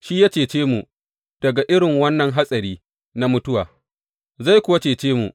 Shi ya cece mu daga irin wannan hatsari na mutuwa, zai kuwa cece mu.